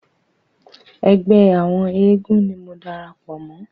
Ẹgbẹ́ àwọn eégún ni mo darapọ̀ mọ́.